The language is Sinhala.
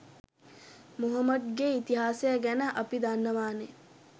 මොහොමඩ්ගේ ඉතිහාසය ගැන අපි දන්නවානේ